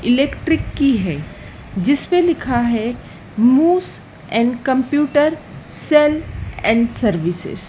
Electric की है जिस पे लिखा है मोस most and computer sale and services.